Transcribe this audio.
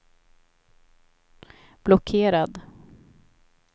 blockerad